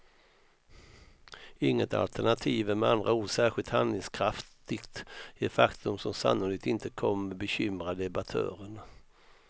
Inget alternativ är med andra ord särskilt handlingskraftigt, ett faktum som sannolikt inte kommer bekymra debattörerna.